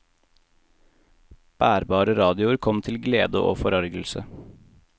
Bærbare radioer kom til glede og forargelse.